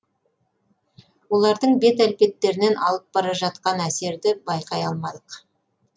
олардың бет әлпеттерінен алып бара жатқан әсерді байқай алмадық